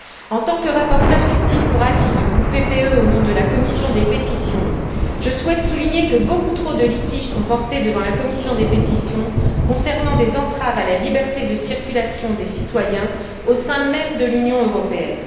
En tant que rapporteure fictive pour avis du groupe PPE au nom de la commission des pétitions, je souhaite souligner que beaucoup trop de litiges sont portés devant la commission des pétitions concernant des entraves à la liberté de circulation des citoyens au sein même de l'Union européenne.